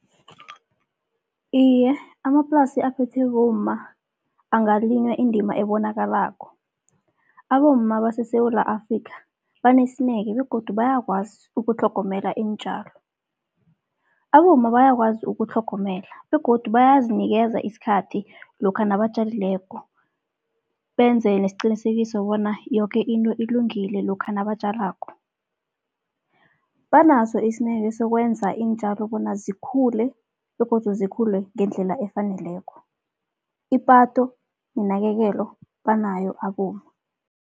Iye, amaplasi aphethwe bomma angalinywa indima ebonakalako. Abomma baseSewula Afrikha banesineke begodu bayakwazi ukutlhogomela iintjalo. Abomma bayakwazi ukutlhogomela begodu bayazinikeza isikhathi lokha nabatjalileko, benze nesiqinisekiso bona yoke into ilungile lokha nabatjalako. Banaso isineke sokwenza iintjalo bona zikhule begodu zikhule ngendlela efaneleko, ipatho nenakekelo banayo abomma.